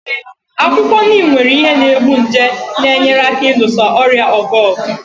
Akwụkwọ Neem nwere ihe na-egbu nje na-enyere aka ịlụso ọrịa ọgụ ọgụ.